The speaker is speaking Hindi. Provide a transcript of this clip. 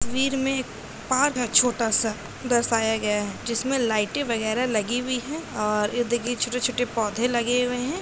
तस्वीर में पार्क है छोटा सा दर्शाया गया है जिसमे लाइटें वगेरा लगी हुई है। छोटे-छोटे पौधे लगे हुए हैं |